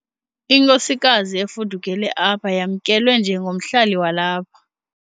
Inkosikazi efudukele apha yamkelwe njengomhlali walapha.